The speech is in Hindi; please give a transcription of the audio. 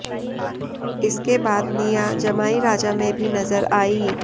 इसके बाद निया जमाई राजा में भी नजर आईं